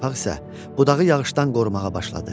Yarpaq isə budağı yağışdan qorumağa başladı.